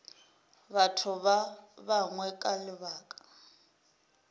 batho ba bangwe ka lebaka